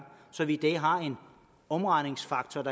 så vi i dag har en omregningsfaktor